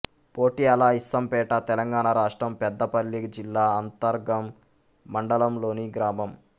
పొట్యాలఇస్సంపేట తెలంగాణ రాష్ట్రం పెద్దపల్లి జిల్లా అంతర్గాం మండలంలోని గ్రామం